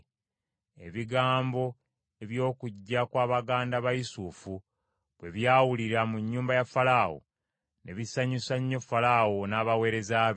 Ebigambo eby’okujja kwa baganda ba Yusufu bwe byawulirwa mu nnyumba ya Falaawo ne bisanyusa nnyo Falaawo n’abaweereza be.